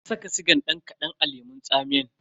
Na saka sigan dan kadan a lemun tsamiyan.